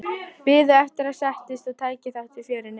Biðu eftir að ég settist og tæki þátt í fjörinu.